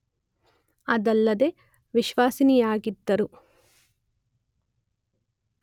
ಅದಲ್ಲದೇ ವಿಶ್ವಸನೀಯವಾಗಿದ್ದರೂ